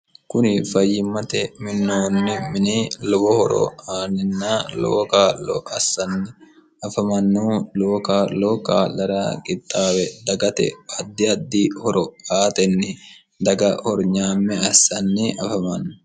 kuni fayyimmate minoonni mini lowo horo aaninna lowo kaarlo assanni afamannu lowo kaa'loo kaallara qixxaawe dagate addi addi horo aatenni daga hornyaamme assanni afamanno